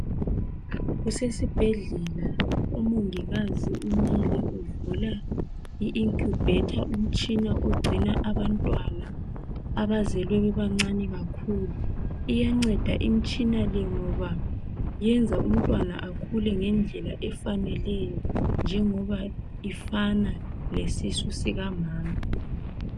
Kusesibhedlela umongikazi umile uvula i incubator umtshina ogcina abantwana abazelwe bebancane kakhulu iyanceda imtshina le ngoba yenza umntwana akhule ngendlela efaneleyo njengoba ifana lesisu sikamama